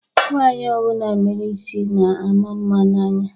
Nwaanyi ọbụna mere isi na-ama mma n'anya.